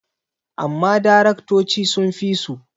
amma daraktoci sun fi su